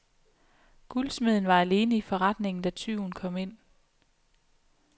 Guldsmeden var alene i forretningen, da tyven kom ind.